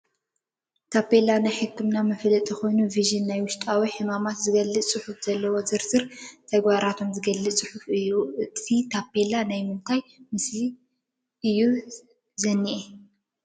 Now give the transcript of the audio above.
ታፔላ ናይ ሕኽምና ምፍላጥ ኮይኑ ቪዥን ናይ ዉሽጢ ሕማማት ዝብል ፅሑፍ ዘልዎ ዝርዝር ትግባራቶምን ዝገልፅ ፅሑፍ እዩ። ኣብቲ ታፔላ ናይ ምንታይ ምስሊ ስእሊ እዩ ዝኒኣ ?